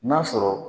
N'a sɔrɔ